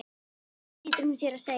Nei, nei flýtir hún sér að segja.